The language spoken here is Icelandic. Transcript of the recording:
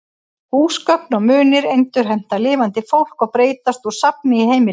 Húsgögn og munir endurheimta lifandi fólk og breytast úr safni í heimili.